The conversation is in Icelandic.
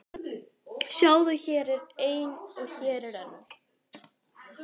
Sjáðu, hér er ein og hér er önnur.